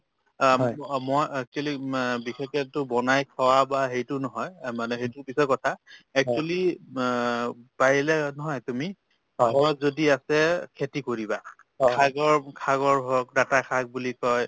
অ, অ মই actually অ বিশেষকেতো বনাই খোৱা বা হেৰিটো নহয় অ মানে সেইটো পিছৰ কথা actually অ পাৰিলে নহয় তুমি ঘৰত যদি আছে খেতি কৰিবা শাকৰ~ শাকৰ হওক ডাঠা শাক বুলি কই